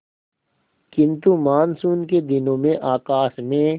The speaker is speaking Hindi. किंतु मानसून के दिनों में आकाश में